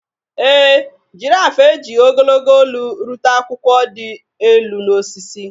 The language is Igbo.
Ee e, girafụ ejighị ogologo olu rute akwụkwọ dị elu n’osisi.